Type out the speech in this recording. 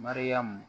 Mariyamu